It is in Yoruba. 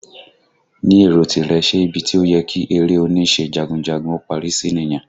Ni èrò tìrẹ, ṣe ibi tí ó yẹ kí eré oníṣe jagunjagun ó parí sí nìyẹn?